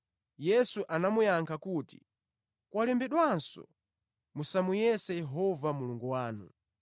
Yesu anamuyankha kuti, “Kwalembedwanso: ‘Musamuyese Yehova Mulungu wanu.’ ”